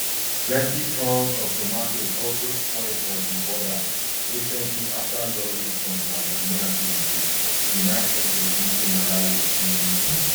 plenti tonnes of tomatoes also spoil for di border recently after lorries from tanzania bin dey denied entry into malawi um